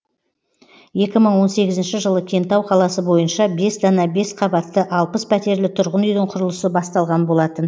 екі мың он сегізінші жылы кентау қаласы бойынша бес дана бес қабатты алпыс пәтерлі тұрғын үйдің құрылысы басталған болатын